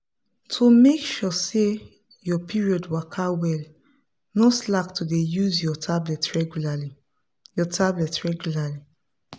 to make sure say your period waka well no slack to dey use your tablet regualrly. your tablet regualrly.